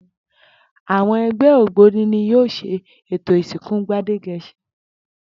Àwo̩n e̩gbé̩ ògbóni ni yóò s̩e ètò ìsìnkú Gbádége̩s̩in